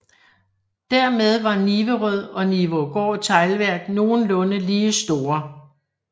Dermed var Niverød og Nivaagaard Teglværk nogenlunde lige store